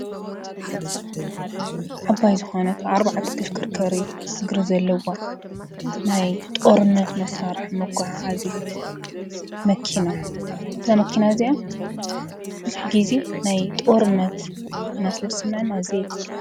ዓይ ዝኾነት ዓርባዓት ተሽከርከር እግሪ ዘለዋ ናይ ጦርነት መሣራሕ መጕዓ ዓዚት መኪና ዛመኪና እዚኣ ብዙኅ ጊዜ ናይ ጥርነት ሕና ስለቲስማያ ናዘይ የጸላ።